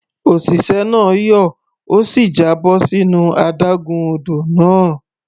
Òṣìṣẹ́ náà yọ̀, ó sì já bọ́ sínú adágún odò náà.